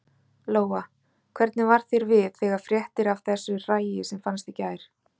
Lóa: Hvernig varð þér við þegar fréttir af þessu hræi sem fannst í gær?